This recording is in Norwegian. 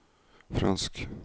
fransk